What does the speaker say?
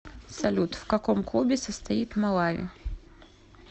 салют в каком клубе состоит малави